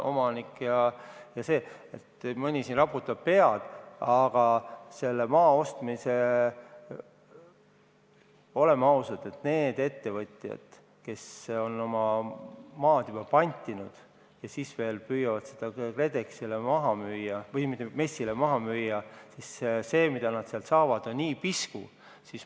Mõni siin raputab pead, aga oleme ausad, et need ettevõtjad, kes on oma maa juba pantinud ja püüavad seda MES-ile maha müüa – see, mis nad sealt saavad, on pisku.